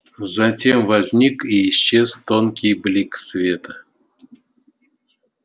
затем возник и исчез тонкий блик света